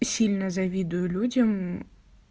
и сильно завидую людям